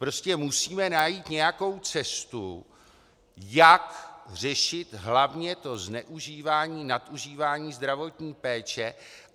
Prostě musíme najít nějakou cestu, jak řešit hlavně to zneužívání, nadužívání zdravotní péče.